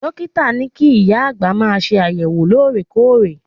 Dókítà ní kí ìyá àgbà máa ṣe àyẹ̀wò loore-koore.